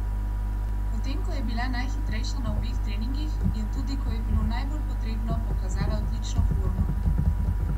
Potem ko je bila najhitrejša na obeh treningih, je tudi, ko je bilo najbolj potrebno, pokazala odlično formo.